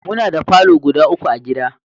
Muna da falo guda uku a gida